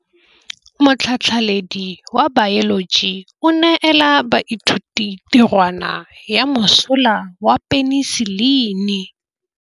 Motlhatlhaledi wa baeloji o neela baithuti tirwana ya mosola wa peniselene.